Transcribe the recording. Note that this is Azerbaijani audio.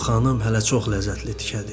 Bu xanım hələ çox ləzzətli tikədir.